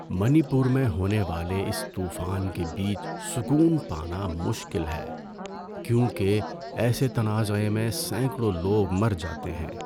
منی پور میں ہونے والے اس طوفان کے بیچ سکون پانا مشکل ہے، کیونکہ ایسے تنازعے میں سینکڑوں لوگ مر جاتے ہیں۔